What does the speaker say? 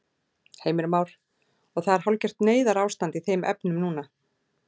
Heimir Már: Og það er hálfgert neyðarástand í þeim efnum núna?